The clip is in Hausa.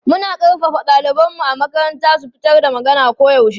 Muna ƙarfafa ɗalibanmu a makaranta su fitar da magana koyaushe.